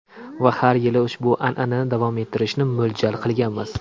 Va har yili ushbu an’anani davom ettirishni mo‘ljal qilganmiz.